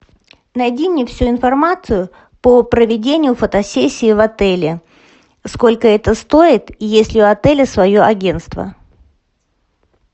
найди мне всю информацию по проведению фотосессии в отеле сколько это стоит и есть ли у отеля свое агентство